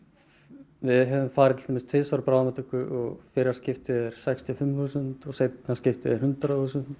við höfum farið til dæmis tvisvar á bráðamóttöku og fyrra skiptið er sextíu og fimm þúsund og seinna skiptið hundrað þúsund